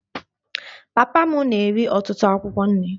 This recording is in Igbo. Papa m na-eri ọtụtụ akwụkwọ nri